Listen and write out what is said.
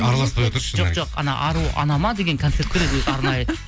араласпай отыршы наргиз жоқ жоқ анау ару анама деген концерт береді өзі арнайы